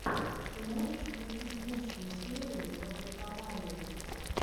ты можешь включить лучшую серию паблоковалли